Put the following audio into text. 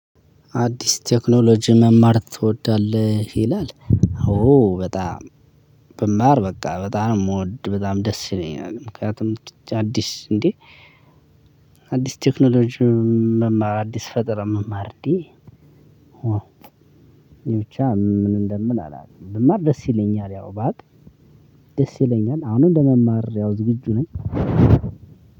አዲስ ቴክኖሎጂ መማር ትወዳለህ? ይላል አዎ በጣም ብማር በቃ በጣም ነው ምወድ በጣም ደስ ይለኛል። ምክንያቱም አዲስ እንዴ አዲስ ቴክኖሎጂ መማር አዲስ ፈጠራ መማር እንዴ። ብቻ ምን እንደምል አላቅም። ብማር ደስ ይለኛል ያው ባቅ ደስ ይለኛል። አሁንም ለመማር ያው ዝግጁ ነኝ።